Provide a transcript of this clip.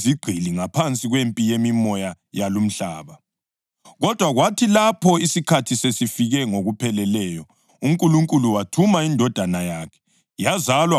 Kodwa kwathi lapho isikhathi sesifike ngokupheleleyo, uNkulunkulu wathuma iNdodana yakhe, yazalwa ngowesifazane, izalwa ngaphansi komthetho,